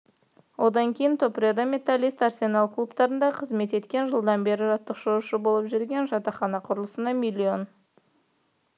одан кейін топреда металлист арсенал клубтарында қызмет еткен жылдан бері жаттықтырушы болып жүр жатақхана құрылысына миллион